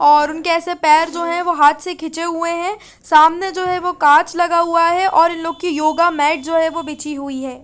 और उनके एसे पैर जो है वो हाथ से खीचे हुए है सामने जो है वो कांच लगा हुआ है और इन लोग की योगा मेट जो है वो बिछी हुई है।